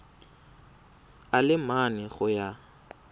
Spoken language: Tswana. a le mane go ya